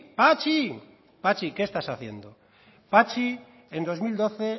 patxi patxi qué estás haciendo patxi en dos mil doce